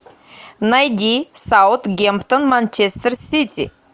найди саутгемптон манчестер сити